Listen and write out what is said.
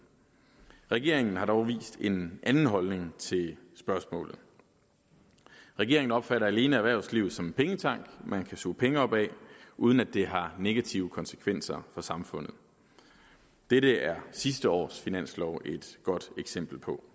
regeringen har dog vist en anden holdning til spørgsmålet regeringen opfatter alene erhvervslivet som en pengetank man kan suge penge op af uden at det har negative konsekvenser for samfundet dette er sidste års finanslov et godt eksempel på